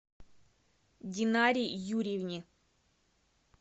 динаре юрьевне